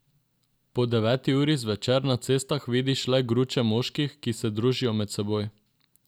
Po deveti uri zvečer na cestah vidiš le gruče moških, ki se družijo med seboj.